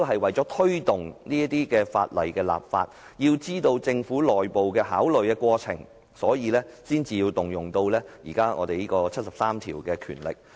為推動制定有關法例，以及了解政府內部的考慮過程，我們今天才建議引用《基本法》第七十三條的權力。